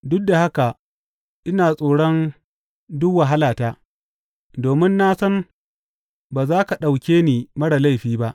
duk da haka ina tsoron duk wahalata, domin na san ba za ka ɗauke ni marar laifi ba.